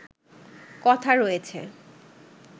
কথা রয়েছে